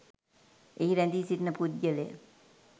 එහි රැදී සිටින පුද්ගලය